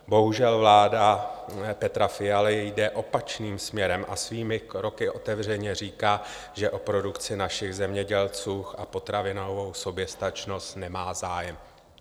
Bohužel, vláda Petra Fialy jde opačným směrem a svými kroky otevřeně říká, že o produkci našich zemědělců a potravinovou soběstačnost nemá zájem.